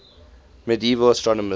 medieval astronomers